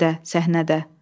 Həmidə səhnədə.